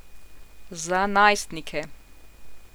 Za najstnike.